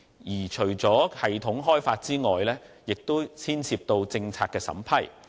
而且，除了系統開發外，亦牽涉到政策審批。